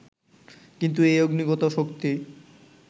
কিন্তু এই অগ্নিগত শক্তি